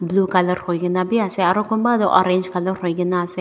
blue colour hoi kena b ase aro kunba toh orange colour hoi kena ase.